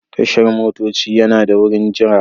Tashar motoci yana da wurin jira.